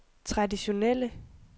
traditionelle